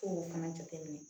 K'o fana jateminɛ